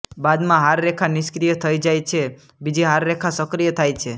બાદમાં હાર રેખા નિષ્ક્રિય થઇ જાય છે બીજી હાર રેખા સક્રિય થાય છે